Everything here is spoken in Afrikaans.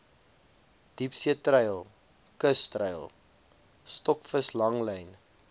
diepseetreil kustreil stokvislanglyn